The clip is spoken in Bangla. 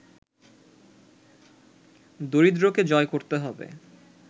দারিদ্রকে জয় করতে হবে